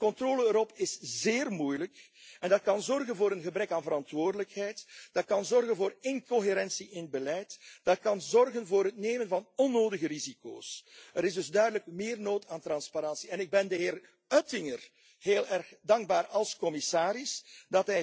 De controle erop is zeer moeilijk en dat kan zorgen voor een gebrek aan verantwoordelijkheid. Dat kan zorgen voor incoherentie in het beleid en dat kan zorgen voor het nemen van onnodige risico's. Er is dus duidelijk meer nood aan transparantie en ik ben de heer Oettinger heel erg dankbaar dat hij als commissaris